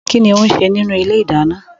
Kínní ó ń ṣe nínú ilé ìdáná?